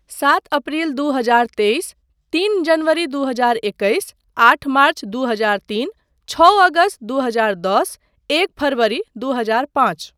सात अप्रिल दू हजार तेइस, तीन जनवरी दू हजार एकैस, आठ मार्च दू हजार तीन, छओ अगस्त दू हजार दश, एक फरवरी दू हजार पाँच।